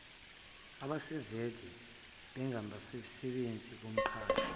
asebevele bengabasebenzi bomqashi